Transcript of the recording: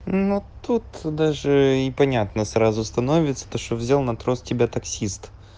но тут даже и понятно сразу становится то что взял на трос тебя таксист